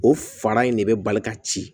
O fara in de bɛ bali ka ci